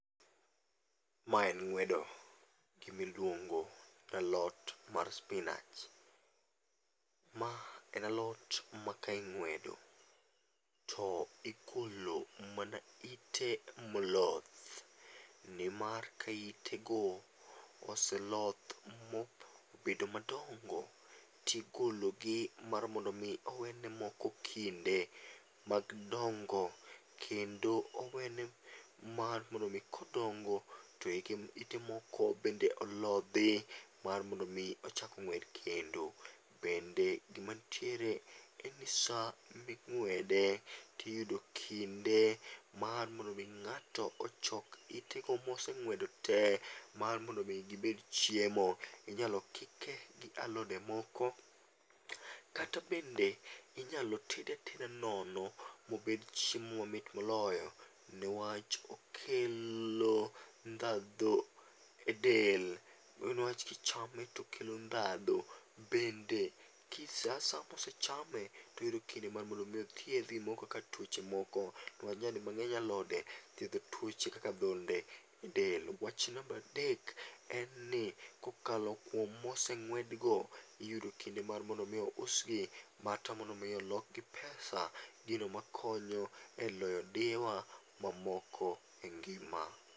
Mae en ng'wedo gima iluongo ni alot mar spinach. Ma en alot ma ka ing'wedo to igolo mana ite moloth nimar ka itego oseloth mobedo madongo to igologi nimar mondo mi owe ne moko kinde mar dongo kendo owene mar mondo mi kodongo to ite moko bende olodhi mar mondo mi chak ng'wed kendo. Bende gima nitiere en ni sama ing'wede to iyudo kinde mar mondo mi ng'ato ochok itego moseng'wedo te mar mondo mi gibed chiemo. Inyalo kike gi alode moko kata bende inyalo tede ateda nono mobed chiemo mamit moloyo newach okelo ndhadhu edel newach kochame to okelo ndhadhu bende ki sa asaya kosechame to oyudo kinde mar mondo mi othiedhi gimoro kaka tuoche moko newach nyadi mang'eny alode thiedho tuoche kaka adhonde edel. Wach namba adek, en ni kokalo kuom moseng'wed go, iyudo kinde mar mondo mi ousgi mar mondo mi olokgi pesa gino makonyo eloyo diyewa mamoko engima.